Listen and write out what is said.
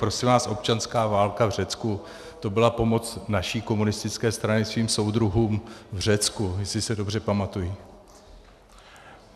Prosím vás, občanská válka v Řecku, to byla pomoc naší komunistické strany svým soudruhům v Řecku, jestli se dobře pamatuji.